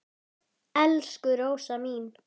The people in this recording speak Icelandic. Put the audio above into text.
Elsku Rósa mín.